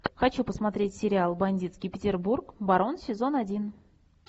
хочу посмотреть сериал бандитский петербург барон сезон один